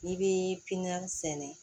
N'i bɛ piyinɔn sɛnɛ